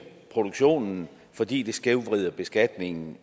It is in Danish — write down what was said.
produktionen fordi det skævvrider beskatningen